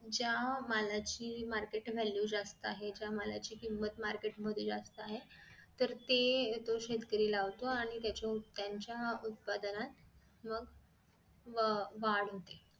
ज्या मालाची market value जास्त आहे त्या मालाची किंमत market मध्ये जास्त आहे तर ते तो शेतकरी लावतो आणि त्याच्या त्यांच्या उत्पादनात व वाढ होते